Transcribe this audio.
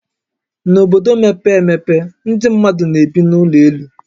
N'obodo mepee emepe, ndị mmadụ na-ebi n'ụlọ elu